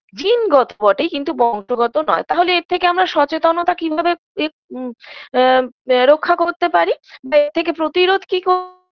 জিনগত বটে কিন্তু বংশগত নয় তাহলে এর থেকে আমরা সচেতনতা কিভাবে পে উম আ আ রক্ষা করতে পারি বা এর থেকে প্রতিরোধ কি ক